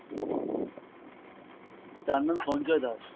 তার নাম সঞ্জয় দাশ।